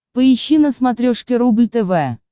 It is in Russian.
поищи на смотрешке рубль тв